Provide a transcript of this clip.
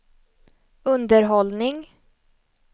underhållning